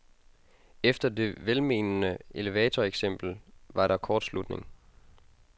Efter det velmenende elevatoreksempel var der kortslutning.